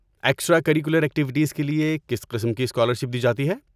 Extra curricular activities کے لیے کس قسم کی اسکالرشپ دی جاتی ہے؟